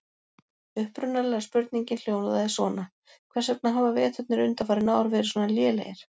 Upprunalega spurningin hljóðaði svona: Hvers vegna hafa veturnir undanfarin ár verið svona lélegir?